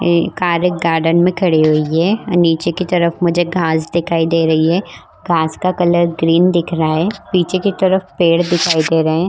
एक car garden में खड़ी हुई है और नीचे की तरफ मुझे घास दिखाई दे रही है घास का कलर ग्रीन दिख रहा है पीछे की तरफ पेड़ दिखाई दे रहे है।